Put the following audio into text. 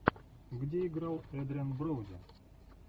где играл эдриан броуди